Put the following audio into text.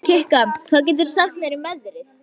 Kikka, hvað geturðu sagt mér um veðrið?